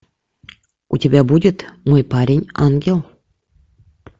у тебя будет мой парень ангел